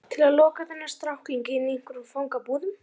Til að loka þennan strákling inni í einhverjum fangabúðum?